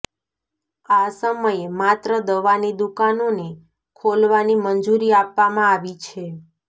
આ સમયે માત્ર દવાની દુકાનોને ખોલવાની મંજૂરી આપવામાં આવી છે